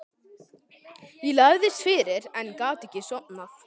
Ég lagðist fyrir en gat ekki sofnað.